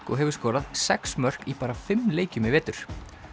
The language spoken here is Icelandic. og hefur skorað sex mörk í bara fimm leikjum í vetur